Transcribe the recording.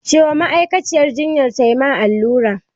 Ce wa ma'aikaciyar jinyan ta ma allura!